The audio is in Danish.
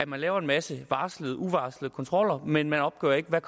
man laver en masse varslede og uvarslede kontroller men man opgør ikke hvad